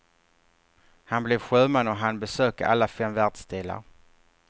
Han blev sjöman och hann besöka alla fem världsdelar.